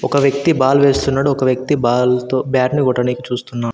ఒక వ్యక్తి బాల్ వేస్తున్నాడు ఒక వ్యక్తి బాల్ తో బ్యాట్నీ కొట్టనీకి చూస్తున్నాడు.